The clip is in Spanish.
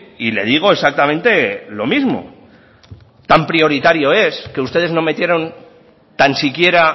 y le digo exactamente lo mismo tan prioritario es que ustedes no metieron tan siquiera